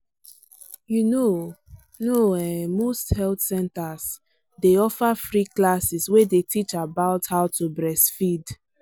you know know ehnmost health centers day offer free classes way day teach about how to breastfeed.